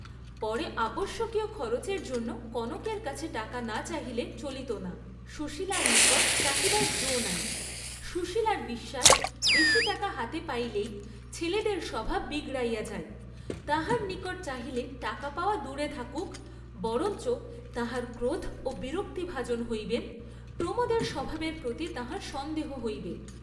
পরে আবশ্যকীয় খরচের জন্য কনকের কাছে টাকা না চাহিলে চলিত না; সুশীলার নিকট চাহিবার যো নাই; সুশীলার বিশ্বাস বেশী টাকা হাতে পাইলেই ছেলেদের স্বভাব বিগড়িয়া যায়, তাঁহার নিকট চাহিলে টাকা পাওয়া দূরে থাকুক বরঞ্চ তাঁহার ক্রোধ ও বিরক্তিভাজন হইবেন, প্রমোদের স্বভাবের প্রতি তাঁহার সন্দেহ হইবে।